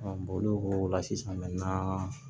olu ko o la sisan